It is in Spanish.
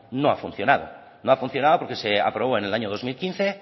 no ha funcionado no ha funcionado porque se aprobó en el año dos mil quince